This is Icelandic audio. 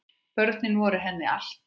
Börnin voru henni allt.